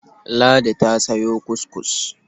Ladi ta sayo kuskus.